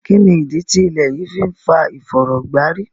Kínnídí tí ilẹ̀ yí fì n fà ìfọ̀rọ̀gbàrí?